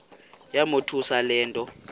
yamothusa le nto